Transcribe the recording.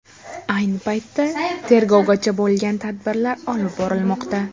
Ayni paytda tegrovgacha bo‘lgan tadbirlar olib borilmoqda.